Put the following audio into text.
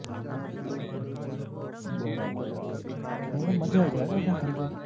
બરાબર બરાબર ખરેખર